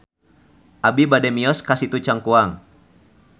Abi bade mios ka Situ Cangkuang